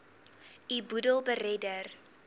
u boedel beredder